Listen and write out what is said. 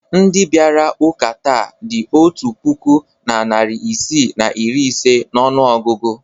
Ndị bịara ụka taa dị otu puku na narị isii na iri ise n'ọnụọgụgụ.